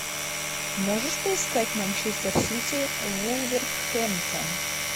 можешь поискать манчестер сити вулверхэмптон